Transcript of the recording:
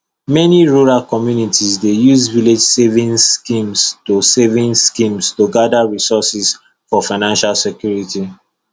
many rural communities dey use village savings scheme to savings scheme to gather resources for financial security